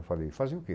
Eu falei, fazer o quê?